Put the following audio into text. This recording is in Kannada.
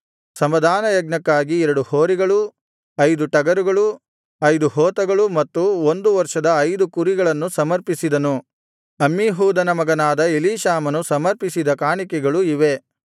ಸಮಾಧಾನಯಜ್ಞಕ್ಕಾಗಿ ಎರಡು ಹೋರಿಗಳು ಐದು ಟಗರುಗಳು ಐದು ಹೋತಗಳು ಮತ್ತು ಒಂದು ವರ್ಷದ ಐದು ಕುರಿಗಳನ್ನು ಸಮರ್ಪಿಸಿದನು ಅಮ್ಮೀಹೂದನ ಮಗನಾದ ಎಲೀಷಾಮನು ಸಮರ್ಪಿಸಿದ ಕಾಣಿಕೆಗಳು ಇವೇ